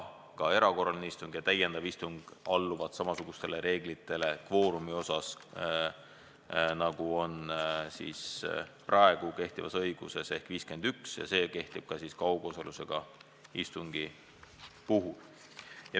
Ka erakorraline istung ja täiendav istung alluvad samasugustele reeglitele, nagu on praegu kehtivas õiguses, ehk 51 nõue kehtib ka kaugosalusega istungi puhul.